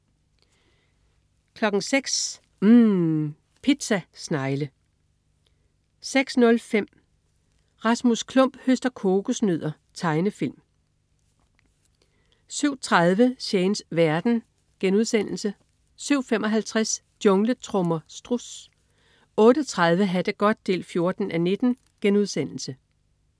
06.00 UMM. Pizza snegle 06.05 Rasmus Klump høster kokosnødder. Tegnefilm 07.30 Shanes verden* 07.55 Jungletrommer. Struds 08.30 Ha' det godt 14:19*